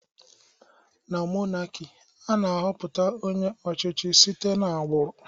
Na mọnaki, ana -họpụta onye ọchichị site na-agburụ